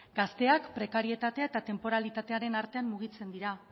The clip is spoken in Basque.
gazteak prekarietatea eta tenporalitatearen artean mugitzen dira